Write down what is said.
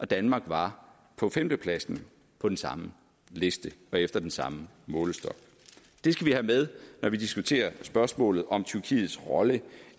danmark var på femtepladsen på den samme liste og efter den samme målestok det skal vi have med når vi diskuterer spørgsmålet om tyrkiets rolle